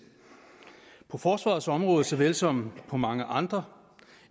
på forsvarets område såvel som på mange andre